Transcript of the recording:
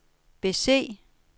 bese